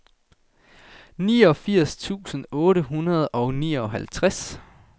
niogfirs tusind otte hundrede og nioghalvtreds